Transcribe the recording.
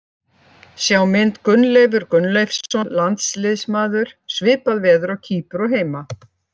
Sjá mynd Gunnleifur Gunnleifsson, landsliðsmaður: Svipað veður á Kýpur og heima.